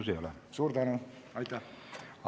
Teile rohkem küsimusi ei ole.